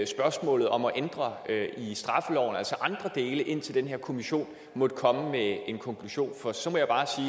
spørgsmålet om at ændre andre dele i straffeloven indtil den her kommission måtte komme med en konklusion for så må jeg bare